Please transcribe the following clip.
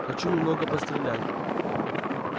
хочу немного пострелять